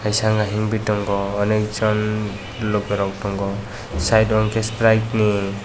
kaisa wngka himoi tongo onek jon loke rok tongo side o hingke strick ni.